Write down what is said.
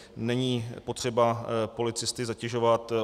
Není potřeba policisty zatěžovat.